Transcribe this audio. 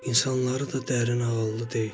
İnsanları da dərin ağıllı deyil.